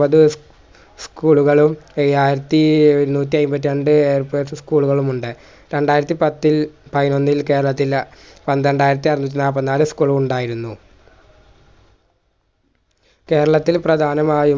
school കളിൽ ഏഴായിരത്തിഎഴുന്നൂറ്റയിമ്പത്രണ്ട് കളുമുണ്ട് രണ്ടായിരത്തിപത്തിൽ പയിനോന്നിൽ കേരത്തില്ല പന്ത്രണ്ടായിരത്തി അറുന്നൂറ്റിനാപ്പതിനാല് ഉ school കൾ ഉണ്ടായിരുന്നു കേരളത്തിൽ പ്രധാനമായും